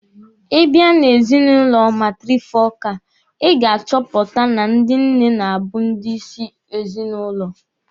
Ị bia na ezinụlọ matịrịfokalụ, Ị ga-achọpụta na ndị nne na-abụ ndị isi n'ezinụlọ.